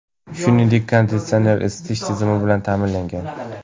Shuningdek, konditsioner, isitish tizimi bilan ta’minlangan.